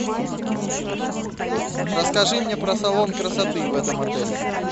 расскажи мне про салон красоты в этом отеле